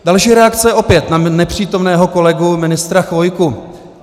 Další reakce, opět na nepřítomného kolegu ministra Chvojku.